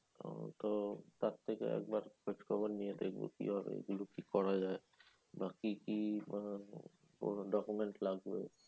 উম তো তার থেকে একবার খোঁজখবর নিয়ে দেখবো কি ভাবে কি করা যায়? বা কি কি মানে কোন document লাগবে?